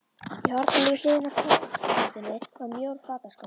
Í horninu við hliðina á borðplötunni var mjór fataskápur.